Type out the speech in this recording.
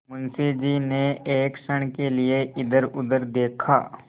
मुंशी जी ने एक क्षण के लिए इधरउधर देखा